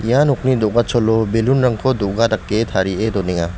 ia nokni do·gacholo balloon-rangko do·ga dake tarie donenga.